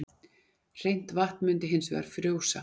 hreint vatn myndi hins vegar frjósa